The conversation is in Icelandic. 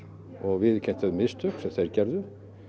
og viðurkennt þau mistök sem þeir gerðu